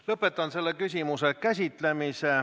Lõpetan selle küsimuse käsitlemise.